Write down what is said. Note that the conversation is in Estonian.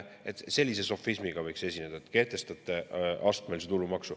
Kui sellise sofismiga esineda, siis võiks et te kehtestate astmelise tulumaksu.